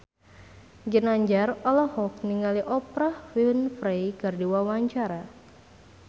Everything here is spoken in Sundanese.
Ginanjar olohok ningali Oprah Winfrey keur diwawancara